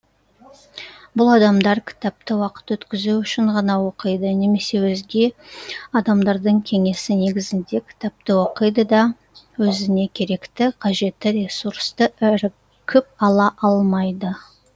бұл адамдар кітапты уақыт өткізу үшін ғана оқиды немесе өзге адамдардың кеңесі негізінде кітапты оқиды да өзіне керекті қажетті ресурсты іркіп ала алмайды